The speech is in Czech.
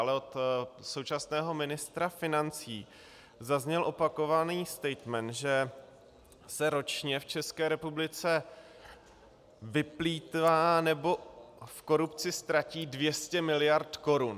Ale od současného ministra financí zazněl opakovaný statement, že se ročně v České republice vyplýtvá nebo v korupci ztratí 200 mld. korun.